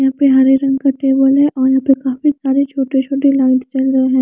यहाँ पे हरे रंग का टेबल हे और यहाँ पर काफी सारे छोटे-छोटे लाइट्स जल रहे हैं।